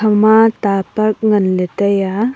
ama ta park nganle tai a.